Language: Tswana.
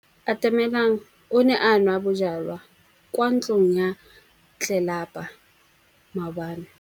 Atamelang o ne a nwa bojwala kwa ntlong ya tlelapa maobane.